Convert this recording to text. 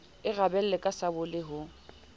e rabella ka sabole ho